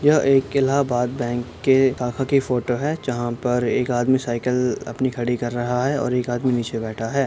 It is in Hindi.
यह एक इलाहाबाद बैंक के शाखा की फोटो है जहां पर एक आदमी साइकिल अपनी खड़ी कर रहा है और एक आदमी नीचे बैठा है।